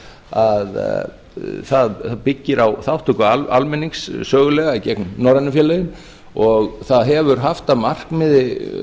að það byggir á þátttöku almennings sögulega í gegnum norrænu félögin og það hefur haft að markmiði